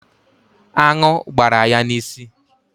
Aṅụ gbara ya n'isi